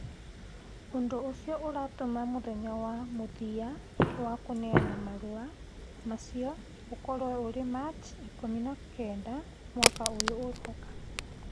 Ũndũ ũcio ũratũma mũthenya wa mũthia wa kũneana marũa macio ũkorũo ũrĩ Machi ikũmi na kenda mwaka ũyũ ũroka.